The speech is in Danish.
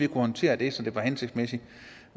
kunne håndtere det så det var hensigtsmæssigt